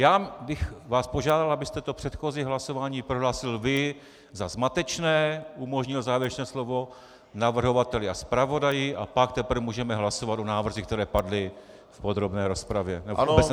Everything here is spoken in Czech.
Já bych vás požádal, abyste to předchozí hlasování prohlásil vy za zmatečné, umožnil závěrečné slovo navrhovateli a zpravodaji, a pak teprve můžeme hlasovat o návrzích, které padly v podrobné rozpravě.